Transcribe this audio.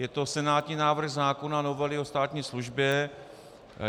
Je to senátní návrh zákona novely o státní službě.